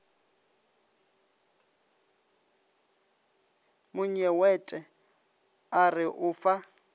monyewete a re o fa